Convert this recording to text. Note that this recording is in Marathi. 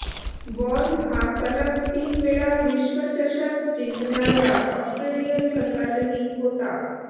वॉर्न हा सलग तीन वेळा विश्वचषक जिंकणार्या ऑस्ट्रेलियन संघातही होता